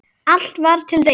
Allt var til reiðu.